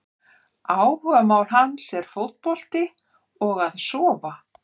Áhugamál hans er fótbolti og að sofa!